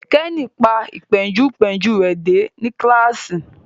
Kenny pa Ìpéǹpéjú rẹ dé ní kilasi